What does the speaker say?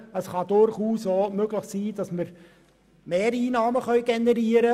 Es ist durchaus möglich, dass wir Mehreinnahmen generieren.